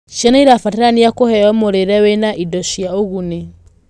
Ciana irabatarania kuheo mũrĩre wĩna indo cia ũguni